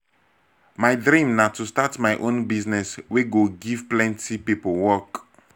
my dream na to start my own business wey go give plenty people work.